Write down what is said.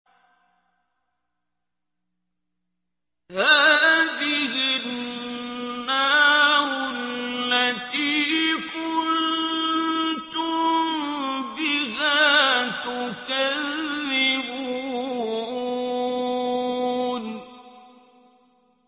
هَٰذِهِ النَّارُ الَّتِي كُنتُم بِهَا تُكَذِّبُونَ